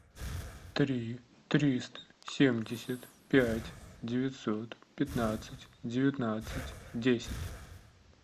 три триста семьдесят пять девятьсот пятнадцать девятнадцать десять